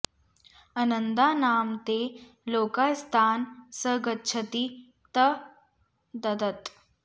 अनन्दा नाम ते लोकास्तान् स गच्छति ता ददत्